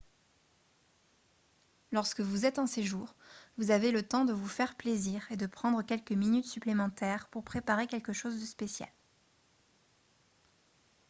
lorsque vous êtes en séjour vous avez le temps de vous faire plaisir et de prendre quelques minutes supplémentaires pour préparer quelque chose de spécial